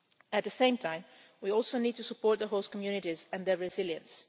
At the same time, we also need to support the host communities and their resilience.